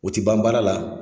O te ban baara la